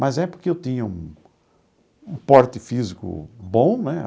Mas é porque eu tinha um um porte físico bom, né?